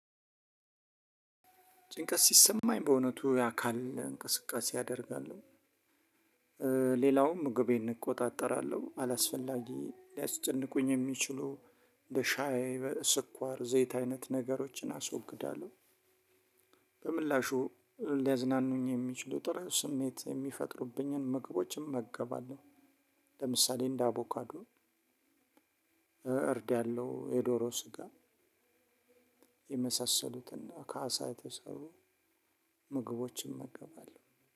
ጭንቀት ሲሰማኝ በእውነቱ የአካል እንቅስቃሴ አደርጋለሁ ሌላውም ምግቤን እቆጣጠራለሁ። አላስፈላጊ ሊያስጨንቁኝ የሚችሉ እንደ ሻይ፣ ስኳር፣ ዘይት አይነት ነገሮችን አስወግዳለሁ በምላሹ ሊያዝናኑኝ የሚችሉ ጥሩ ስሜት የሚፈጥሩብኝን ምግቦች እመገባለሁ ለምሳሌ እንደ አቮካዶ፣ እርድ ያለው የዶሮ ስጋ የመሳሰሉትና ከአሳ የተሰሩ ምግቦችን እመገባለሁ።